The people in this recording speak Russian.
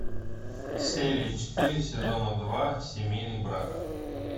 серия четыре сезона два семейный брак